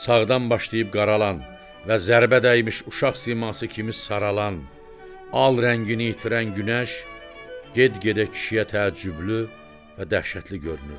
Sağdan başlayıb qaralan və zərbə dəymiş uşaq siması kimi saralan al rəngini itirən günəş get-gedə kişiyə təəccüblü və dəhşətli görünürdü.